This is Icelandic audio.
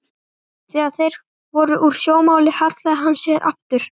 Þegar þeir voru úr sjónmáli hallaði hann sér aftur.